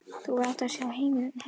Þú hefðir átt að sjá heimili hennar.